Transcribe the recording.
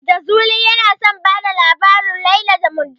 Jazuli yana son bada labarin "Laila da Majnun".